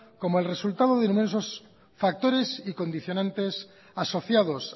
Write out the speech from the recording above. como el resultado de inmensos factores y condicionantes asociados